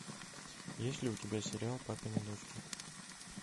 есть ли у тебя сериал папины дочки